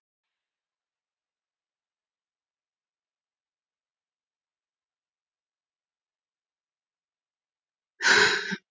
Mjög mismunandi er hve oft fólk fær útbrot.